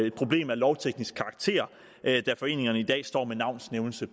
et problem af lovteknisk karakter da foreningerne i dag står med navns nævnelse i